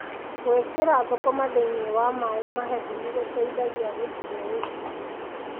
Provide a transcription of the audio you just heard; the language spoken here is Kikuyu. Gũĩkĩra thũkũma thĩiniĩ wa maaĩ mahehu nĩgũteithagia gũcihe ũigũ.